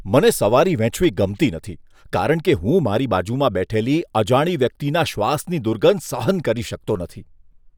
મને સવારી વહેંચવી ગમતી નથી કારણ કે હું મારી બાજુમાં બેઠેલી અજાણી વ્યક્તિના શ્વાસની દુર્ગંધ સહન કરી શકતો નથી.